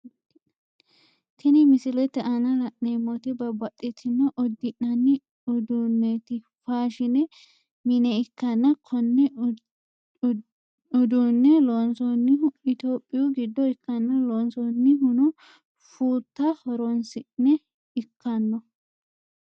Tini misilete aanna la'neemoti babbaxitino udi'nanni udunote faashine mine ikanna Kone uduune loonsoonnihuno itophiyu gido ikanna loonsoonnihuno fuuta horoonsi'ne ikano.